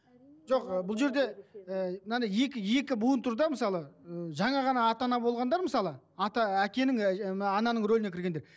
жоқ ы бұл жерде і мынадай екі екі буын тұр да мысалы ы жаңа ғана ата ана болғандар мысалы ата ы әкенің ыыы ананың рөліне кіргендер